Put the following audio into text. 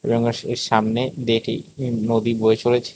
গ্রামবাসীদের সামনে এটি একটি নদী বয়ে চলেছে।